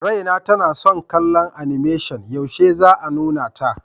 Raina tana son kallon animation, yaushe za a nuna ta?